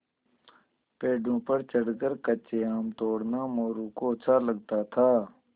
पेड़ों पर चढ़कर कच्चे आम तोड़ना मोरू को अच्छा लगता था